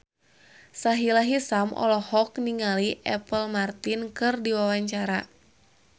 Sahila Hisyam olohok ningali Apple Martin keur diwawancara